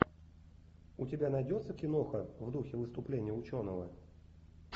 у тебя найдется киноха в духе выступления ученого